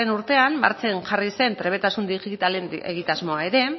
urtean martxan jarri zen trebetasun digitalen egitasmoa ere